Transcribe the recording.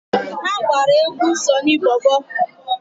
Ha gbara egwu Sọnị Bọbọ.